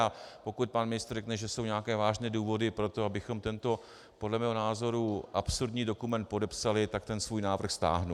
A pokud pan ministr řekne, že jsou nějaké vážné důvody pro to, abychom tento podle mého názoru absurdní dokument podepsali, tak ten svůj návrh stáhnu.